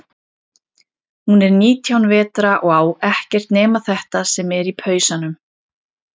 Hún er nítján vetra og á ekkert nema þetta sem er í pausanum.